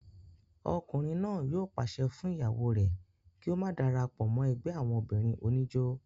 ọkùnrin náà yóò pàṣẹ fún ìyàwó rẹ̀ kí ó má darapọ̀ mọ́ ẹgbẹ́ àwọn obìnrin oníjó